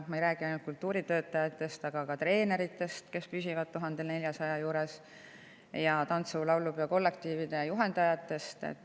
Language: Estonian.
Ma ei räägi ainult kultuuritöötajatest, aga ka treeneritest, kelle püsib 1400 euro juures, ning tantsu‑ ja laulupeo kollektiivide juhendajatest.